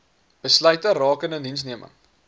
besluite rakende indiensneming